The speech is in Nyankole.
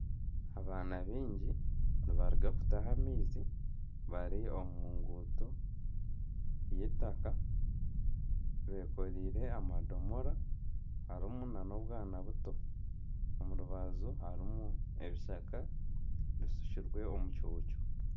Abaana baingi nibaruga kutaha amaizi bari omu nguuto y'eitaka bekoreire amadomora harimu nana obwana buto omurubaju harimu ebishaka bishukirwe omucuucu